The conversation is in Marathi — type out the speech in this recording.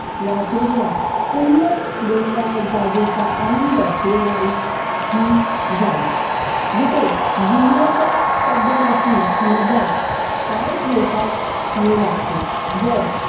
वाचलेल्या सुंदर डोगराळं जागेचा आनंद देणारी हि जागा जिथे जीवनाच्या शब्दतेचि मज्या पाय ठेवीत येवू लागते जर